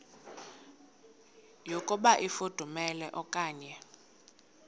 yokuba ifudumele okanye